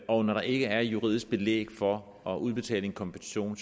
og når der ikke er juridisk belæg for at udbetale en kompensation